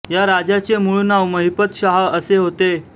या राजाचे मूळ नाव महिपत शाह असे होते